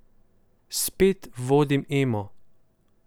Spet vodim Emo.